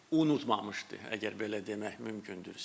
Unutmamışdı, əgər belə demək mümkündürsə.